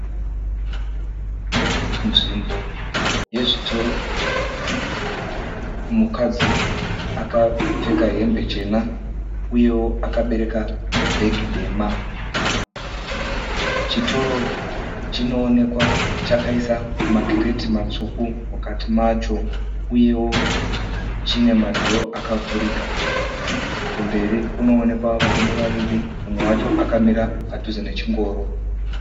Nzvimbo yezvitoro. Mukadzi akapfeka hembe chena uyewo akabereka bhegi dema. Chitoro chinoonekwa chakaisa makireti matsvuku mukati macho uyewo chine madhoo akavhurika. Kumberi kunoonekwa varume vaviri mumwe wacho akamira padhuze nechingoro.